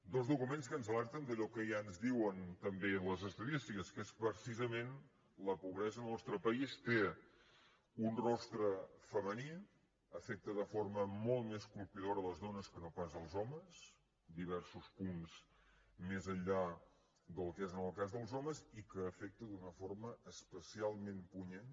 dos documents que ens alerten d’allò que ja ens diuen també les estadístiques que és precisament que la pobresa en el nostre país té un rostre femení afecta de forma molt més colpidora les dones que no pas els homes diversos punts més enllà del que és en el cas dels homes i que afecta d’una forma especialment punyent